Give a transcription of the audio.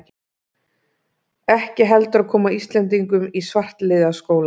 ekki heldur að koma Íslendingum í svartliðaskóla.